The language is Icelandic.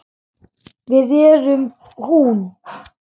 Við erum hún.